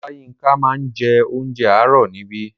Oláyínká máa ń jẹ onjẹ àárò níbí.